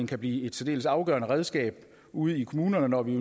kan blive et særdeles afgørende redskab ude i kommunerne når vi